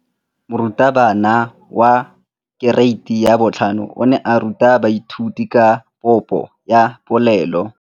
Moratabana wa kereiti ya 5 o ne a ruta baithuti ka popô ya polelô.